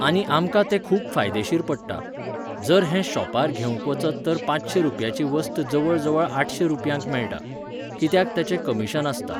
आनी आमकां ते खूब फायदेशीर पडटा. जर हें शोपार घेवंक वचत तर पाचशें रुपयाची वस्त जवळ जवळ आठशें रूपयांक मेळटा. कित्याक तेंचे कमिशन आसता.